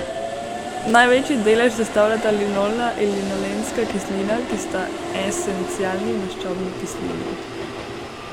Največji delež sestavljata linolna in linolenska kislina, ki sta esencialni maščobni kislini.